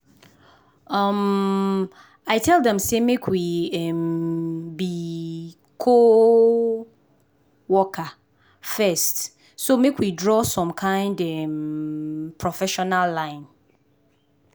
um i tell dem say we um be co-worker first so make we draw some kind um professional line.